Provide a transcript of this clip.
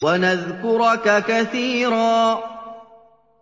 وَنَذْكُرَكَ كَثِيرًا